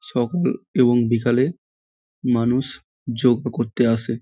সকাল এবং বিকালে মানুষ যোগা করতে আসে।